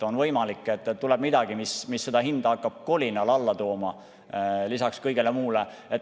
On võimalik, et tuleb midagi, mis seda hinda hakkab kolinal alla tooma, lisaks kõigele muule.